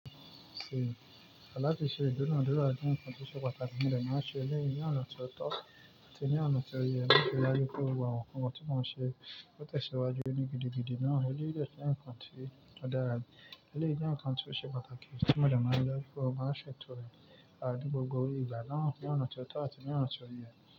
Ṣé, àlá tí ṣe dóná dóná, dún ń kán ti o ṣe pàtàkì tí mọdé máa ṣe ní ọ̀nà tó tọ́ àti ní ọ̀nà tó yẹ láti ri dájú pé òun wà. Òun mọ tí moo n ṣe ó tẹ̀síwájú nínú gidigidi náà. Ṣé lílo ilẹ̀ ń kán ti o dadà rẹ. Ṣé jẹ̀ ń kán ti o ṣe pàtàkì tí modé máa lọ kúrò máa ṣètò rẹ̀ áti gbogbo ìgbà náà ní ọ̀nà ti ó tọ́ àti ní ọ̀nà tó yẹ.